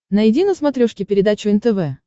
найди на смотрешке передачу нтв